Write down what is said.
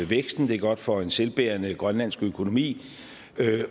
væksten det er godt for en selvbærende grønlandsk økonomi